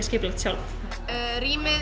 skipulagt sjálf rýmið